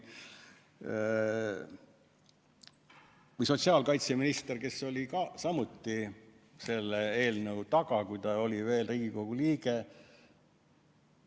Või sotsiaalkaitseminister, kes oli samuti selle eelnõu taga, kui ta oli veel Riigikogu liige.